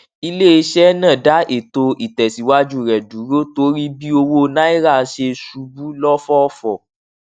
iléiṣẹ náà dá ètò ìtẹsíwájú rẹ dúró torí bí owó nàírà ṣe ṣubú lọfọfọ